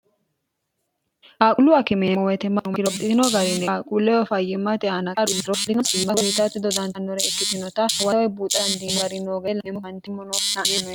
aaqullu akimeemo wetemmanumakiropitino garini aaquulleyo fayyimmate aanaqaaruuro ino ima bolitaatti dodantannore ikkitinota huwoawe buuxaandi gari noo ge ela emmo kantimmo noo 'enone